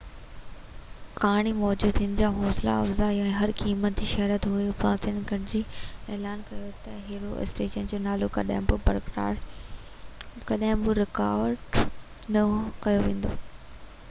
ڪهاڻي موجب هن جو حوصله افزائي هر قيمت تي شهرت هئي افسانين گڏجي اعلان ڪيو ته هيرو اسٽريٽس جو نالو ڪڏهن به رڪارڊ نه ڪيو ويندو